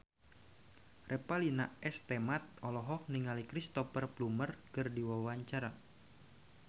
Revalina S. Temat olohok ningali Cristhoper Plumer keur diwawancara